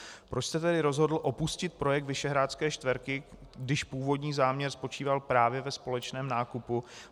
Proč jste tedy rozhodl opustit projekt Visegrádské čtyřky, když původní záměr spočíval právě ve společném nákupu?